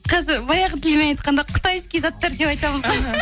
қазір баяғы тілмен айтқанда қытайский заттар деп айтамыз ғой